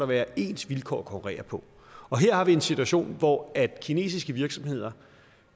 være ens vilkår at konkurrere på her har vi en situation hvor kinesiske virksomheder